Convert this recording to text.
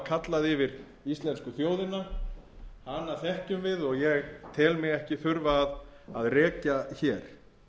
kallað yfir íslensku þjóðina hana þekkjum við og ég tel mig ekki þurfa að rekja hér